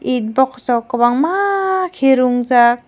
it box rok kobangma kir wngjak.